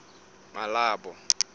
malebo